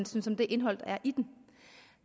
synes om det indhold der er i den